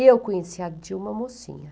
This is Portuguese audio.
Eu conheci a Dilma mocinha.